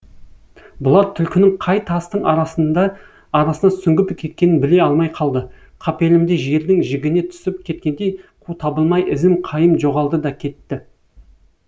бұлар түлкінің қай тастың арасына сүңгіп кеткенін біле алмай қалды қапелімде жердің жігіне түсіп кеткендей қу табылмай ізім қайым жоғалды да кетті